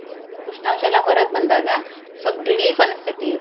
ಉಷ್ಣಾಂಶ ಎಲ್ಲಾ ಹೊರಗ್ ಬಂದಾಗ ಸ್ವಲ್ಪ relief ಅನಸ್ತೈತಿ.